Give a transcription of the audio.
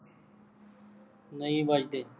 ਨਹੀਂ ਵੱਜਦੇ